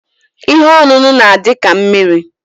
Ihe oṅụnụ n'adi ka mmiri.